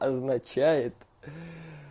означает